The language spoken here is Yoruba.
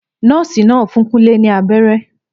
Nọ́ọ̀sì náà fún Kunle ní abẹ́rẹ́